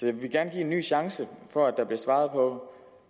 jeg vil gerne give en ny chance for at der blev svaret på